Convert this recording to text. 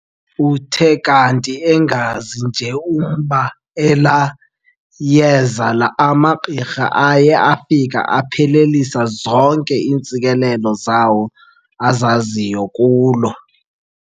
Uthe kanti engazi nje umba elaa yeza amagqirha aye afika aphelelisa zonke iintsikelelo zawo azaziyo kulo.